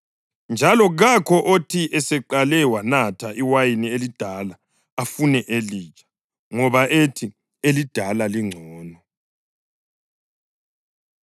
Njalo kakho othi eseqale wanatha iwayini elidala afune elitsha, ngoba uthi, ‘Elidala lingcono.’ ”